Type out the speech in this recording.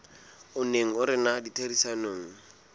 o neng o rena ditherisanong